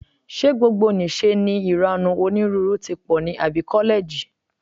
Ṣé gbogbonìṣe ni ìranù onírúurú tí pọ̀ ní àbí kọ́lẹ́ẹ̀jì?